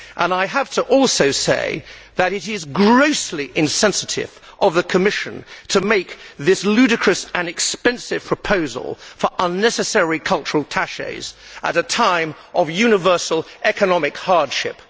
I have to also say that it is grossly insensitive of the Commission to make this ludicrous and expensive proposal for unnecessary cultural attachés at a time of universal economic hardship.